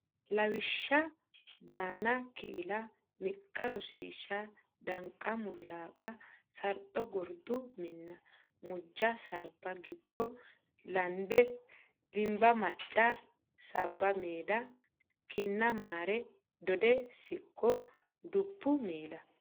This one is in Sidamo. Lawishsha banna killa miqqa Rosiishsha danqa mulaqa sarxo gordo minna mujja sarba gibbo lande dimba macca sabba madde kinna mara dodde siqqo bubbe miila.